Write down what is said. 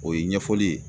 O ye ɲɛfɔli ye